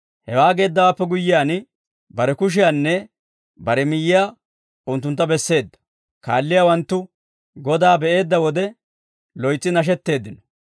Hewaa geeddawaappe guyyiyaan, bare kushiyaanne bare miyyiyaa unttuntta besseedda; kaalliyaawanttu Godaa be'eedda wode loytsi nashetteeddino.